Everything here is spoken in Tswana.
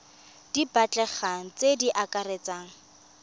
di batlegang tse di akaretsang